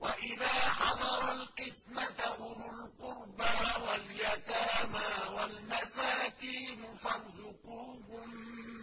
وَإِذَا حَضَرَ الْقِسْمَةَ أُولُو الْقُرْبَىٰ وَالْيَتَامَىٰ وَالْمَسَاكِينُ فَارْزُقُوهُم